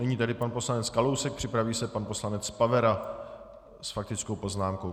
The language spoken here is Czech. Nyní tedy pan poslanec Kalousek, připraví se pan poslanec Pavera s faktickou poznámkou.